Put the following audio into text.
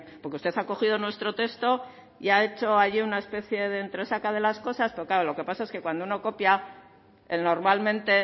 porque usted ha cogido nuestro texto y ha hecho ahí una especie de entresaca de las cosas pero claro lo que pasa es que cuando uno copia normalmente